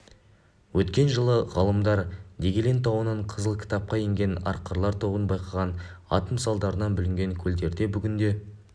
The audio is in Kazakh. өткен жылы ғалымдар дегелең тауынан қызыл кітапқа енген арқарлар тобын байқаған атом салдарынан бүлінген көлдерде бүгінде